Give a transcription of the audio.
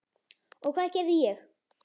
Og hvað gerði ég?